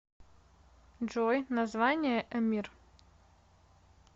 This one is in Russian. джой название эмир